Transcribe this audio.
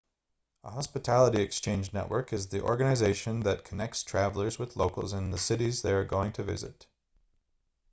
a hospitality exchange network is the organization that connects travelers with locals in the cities they are going to visit